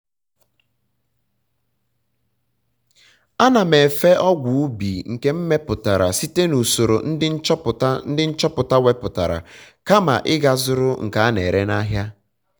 ana m efe ọgwụ ubi nke m meputara site na usoro ndị nchọpụta ndị nchọpụta weputara kama ị ga zụrụ nke a na-ere n'ahịa